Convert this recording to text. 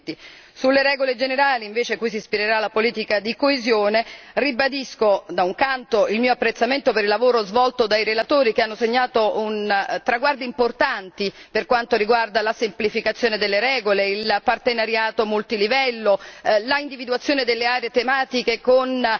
2020. Sulle regole generali, per contro, cui si ispirerà la politica di coesione, ribadisco, da un lato, il mio apprezzamento per il lavoro svolto dai relatori, che hanno segnato un traguardo importante per quanto riguarda la semplificazione delle regole, il partenariato multilivello, l'individuazione delle aree tematiche con